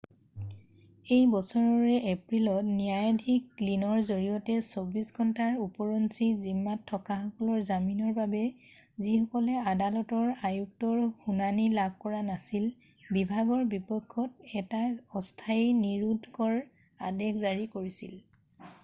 এই বছৰৰে এপ্ৰিলত ন্যায়াধীশ গ্লিনৰ জৰিয়তে 24 ঘণ্টাৰ উপৰঞ্চি জিম্মাত থকাসকলৰ জামিনৰ বাবে যিসকলে আদালতৰ আয়ুক্তৰ শুনানি লাভ কৰা নাছিল বিভাগৰ বিপক্ষত এটা অস্থায়ী নিৰোধকৰ আদেশ জাৰি কৰিছিল